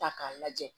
Ta k'a lajɛ